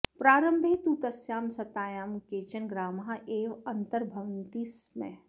प्रारम्भे तु तस्यां सत्तायां केचन ग्रामाः एव अन्तर्भवन्ति स्म